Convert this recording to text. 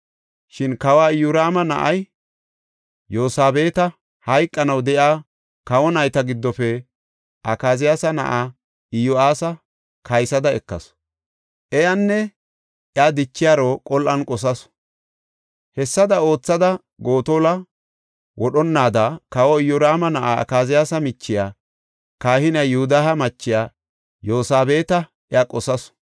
Shin kawa Iyoraama na7iya Yosabeeta hayqanaw de7iya kawo nayta giddofe Akaziyaasa na7aa Iyo7aasa kaysada ekasu. Iyanne iya dichiyaro qol7an qosasu. Hessada oothada Gotola wodhonnaada kawa Iyoraama na7iya Akaziyaasa michiya kahiniya Yoodahe machiya Yosabeeta iya qosasu.